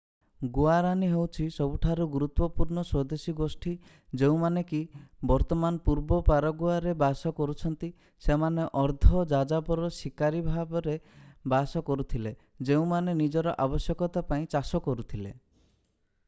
Guarani ହେଉଛି ସବୁଠାରୁ ଗୁରୁତ୍ୱପୂର୍ଣ୍ଣ ସ୍ୱଦେଶୀ ଗୋଷ୍ଠୀ ଯେଉଁମାନେ କି ବର୍ତ୍ତମାନ ପୂର୍ବ ପାରାଗୁଏରେ ବାସ କରୁଛନ୍ତି ସେମାନେ ଅର୍ଦ୍ଧ-ଯାଯାବର ଶିକାରୀ ଭାବରେ ବାସ କରୁଥିଲେ ଯେଉଁମାନେ ନିଜର ଆବଶ୍ୟକତା ପାଇଁ ଚାଷ କରୁଥିଲେ